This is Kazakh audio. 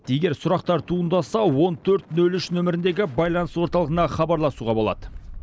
егер сұрақтар туындаса он төрт нөл үш нөміріндегі байланыс орталығына хабарласуға болады